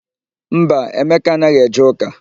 Mba, Emeka anaghị eje ụ́kà.